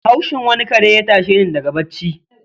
Haushin wani kare ya tashe ni daga bacci.